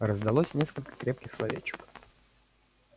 раздалось несколько крепких словечек